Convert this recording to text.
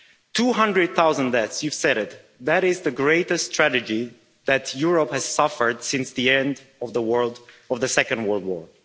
Two hundred thousand deaths you said it, that is the greatest tragedy that Europe has suffered since the end of the Second World War.